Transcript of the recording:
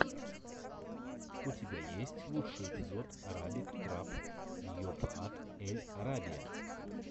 у тебя есть лучший эпизод арабик трап йобхат эль арабия